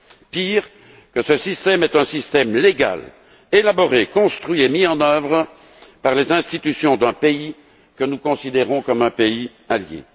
Et il y a pire encore, ce système est un système légal, élaboré, construit et mis en œuvre par les institutions d'un pays que nous considérons comme un pays allié.